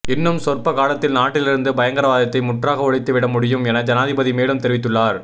இன்னும் சொற்ப காலத்தில் நாட்டிலிருந்து பயங்கரவாதத்தை முற்றாக ஒழித்துவிட முடியும் என ஜனாதிபதி மேலும் தெரிவித்துள்ளார்